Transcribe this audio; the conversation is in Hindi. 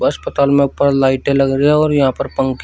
अस्पताल में ऊपर लाइटें लग रही है और यहां पर पंखे--